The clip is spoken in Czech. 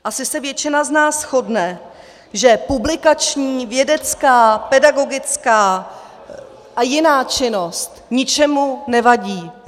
Asi se většina z nás shodne, že publikační, vědecká, pedagogická a jiná činnost ničemu nevadí.